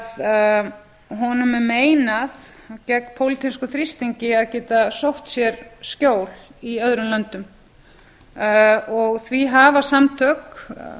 að honum er meinað gegn pólitískum þrýstingi að geta sótt sér skjól í öðrum löndum því hafa samtök